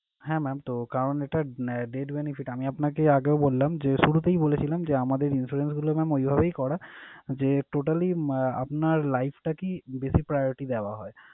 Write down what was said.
হ্যাঁ mam তো কারণ এটা আহ debt benefit । আমি আপনাকে আগেও বললাম যে, শুরুতেই বলেছিলাম যে আমাদের insurance গুলো mam ঐভাবেই করা যে totally আহ আপনার life টাকেই বেশি priority দেওয়া হয়।